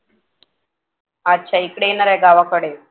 अच्छा इकडे येणार आहे गावाकडे